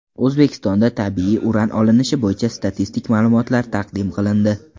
O‘zbekistonda tabiiy uran olinishi bo‘yicha statistik ma’lumotlar taqdim qilindi.